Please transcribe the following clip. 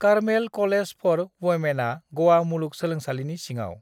Carmel college for वुमेनआ ग'वा मुलुग सोलोंसालिनि सिङाव।